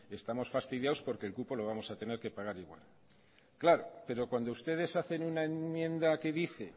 estamos fastidiados porque el cupo lo vamos a tener que pagar igual claro pero cuando ustedes hacen una enmienda que dice